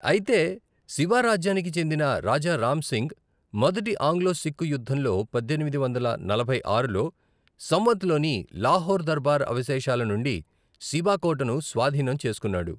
అయితే, సిబా రాజ్యానికి చెందిన రాజా రామ్ సింగ్, మొదటి ఆంగ్లో సిక్కు యుద్ధంలో పద్దెనిమిది వందల నలభై ఆరులో సంవత్లోని లాహోర్ దర్బార్ అవశేషాల నుండి సిబా కోటను స్వాధీనం చేసుకున్నాడు.